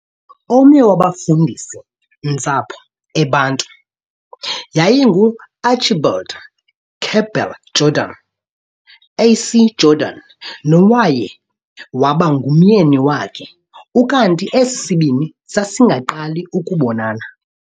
Omnye wabafundisi-ntsapho e Bantu yayingu Archibald Campbell Jordan|A.C Jordan, nowaye waba ngumyeni wakhe, ukanti esisibini sasingaqali ukubonana.